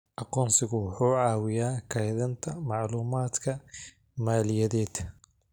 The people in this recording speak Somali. Aqoonsigu wuxuu caawiyaa kaydinta macluumaadka maaliyadeed.